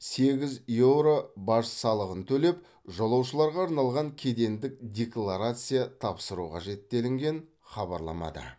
сегіз еуро баж салығын төлеп жолаушыларға арналған кедендік декларация тапсыру қажет делінген хабарламада